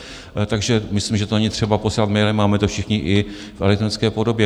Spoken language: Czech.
Takže myslím, že to není třeba posílat mailem, máme to všichni i v elektronické podobě.